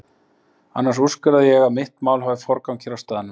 Annars úrskurða ég að mitt mál hafi forgang hér á staðnum.